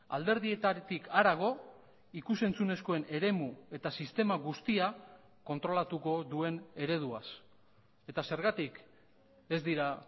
alderdietatik harago ikus entzunezkoen eremu eta sistema guztia kontrolatuko duen ereduaz eta zergatik ez dira